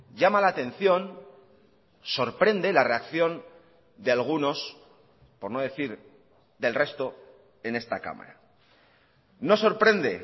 llama la atención sorprende la reacción de algunos por no decir del resto en esta cámara no sorprende